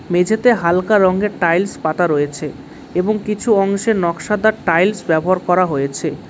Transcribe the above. মেঝেতে হালকা রঙ্গের টাইলস পাতা রয়েছে এবং কিছু অংশে নকশাদার টাইলস ব্যবহার করা হয়েছে।